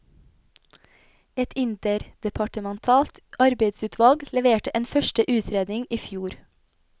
Et interdepartementalt arbeidsutvalg leverte en første utredning i fjor.